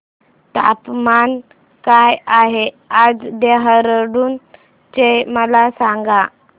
तापमान काय आहे आज देहराडून चे मला सांगा